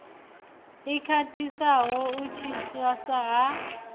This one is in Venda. i khwaṱhisaho u tswiwa ha